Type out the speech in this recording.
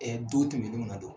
don tɛmɛnnenw na do.